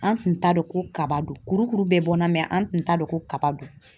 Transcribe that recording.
An tun t'a dɔn ko kaba don ,kurukuru bɛɛ bɔ na, mɛ an tun t'a dɔn ko kaba don.